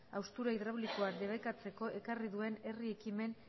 haustura hidraulikoa debekatzeko ekarri duen herri ekimen